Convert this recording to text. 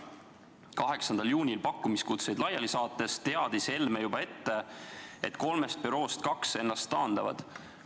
8. juunil pakkumiskutseid laiali saates teadis Helme juba ette, et kolmest büroost kaks ennast taandavad.